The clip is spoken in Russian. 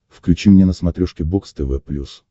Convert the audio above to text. включи мне на смотрешке бокс тв плюс